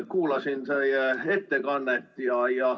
Kuulasin teie ettekannet.